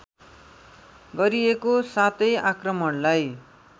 गरिएको सातै आक्रमणलाई